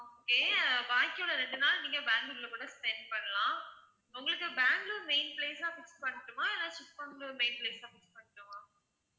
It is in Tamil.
okay அஹ் பாக்கி உள்ள ரெண்டு நாள் நீங்க பேங்களூர்ல கூட spend பண்ணலாம் உங்களுக்கு பேங்களூர் main place ஆ fix பண்ணட்டுமா இல்ல சிக்மங்களூர் main place ஆ fix பண்ணட்டுமா?